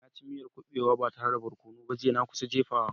Na ci miyar kubewa ba tare da barkono ba jiya, na kusa jefawa.